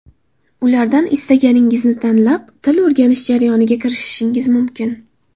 Ulardan istaganingizni tanlab, til o‘rganish jarayoniga kirishishingiz mumkin.